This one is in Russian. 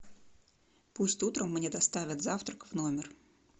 пусть утром мне доставят завтрак в номер